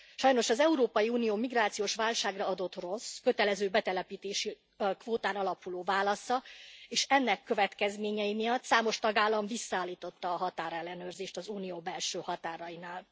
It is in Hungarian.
Sajnos az Európai Unió migrációs válságra adott rossz, kötelező betelepítési kvótán alapuló válasza, és ennek következményei miatt számos tagállam visszaállította a határellenőrzést az Unió belső határainál.